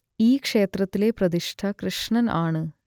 ഈ ക്ഷേത്രത്തിലെ പ്രതിഷ്ഠ കൃഷ്ണൻ ആണ്